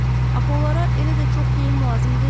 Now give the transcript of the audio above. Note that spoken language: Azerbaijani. Axı onlara elə də çox geyim lazım deyil.